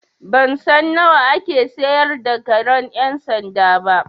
Ban san nawa ake sayar da karen ƴan sanda ba.